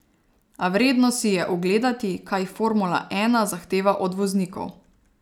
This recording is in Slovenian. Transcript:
A vredno si je ogledati, kaj formula ena zahteva od voznikov.